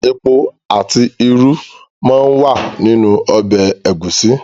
Epo àti irú máa ń wà nínú ọbẹ̀ Ẹ̀gúsí